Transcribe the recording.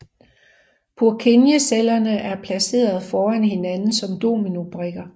Purkinjecellerne er placeret foran hinanden som dominobrikker